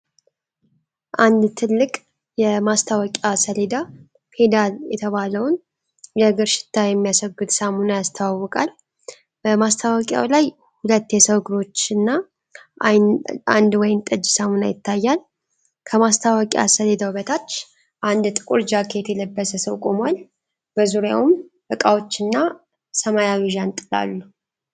አንድ ትልቅ ሰማያዊ የማስታወቂያ ሰሌዳ *'ፔዳል' የተባለውን የእግር ሽታ የሚያስወግድ ሳሙና ያስተዋውቃል። በማስታወቂያው ላይ ሁለት የሰው እግሮችና አንድ ወይንጠጅ ሳሙና ይታያሉ። ከማስታወቂያ ሰሌዳው በታች አንድ ጥቁር ጃኬት የለበሰ ሰው ቆሟል፤ በዙሪያውም እቃዎችና ሰማያዊ ዣንጥላ አሉ።